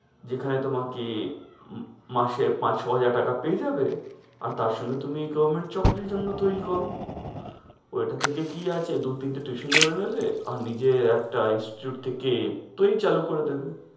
যেখানে তোমাকে মাসে পাঁচ-ছয় হাজার টাকা পেয়ে যাবে আর তার সঙ্গে তুমি requirement চাকরির জন্য তৈরী করো। ঐটা থেকে কি আছে? দুই-তিনটা tuition ই ধরে নিবে আর নিজের একটা institute থেকে চালু করে দিবে।